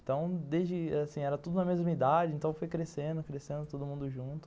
Então, desde era tudo na mesma idade, então foi crescendo, crescendo todo mundo junto.